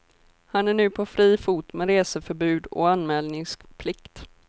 Han är nu på fri fot med reseförbud och anmälningsplikt.